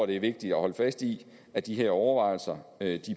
det er vigtigt at holde fast i at de her overvejelser